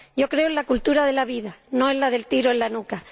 Creo en la cultura de la vida, no en la del tiro en la nuca.